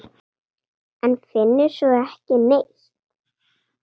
En finnur svo ekki neitt.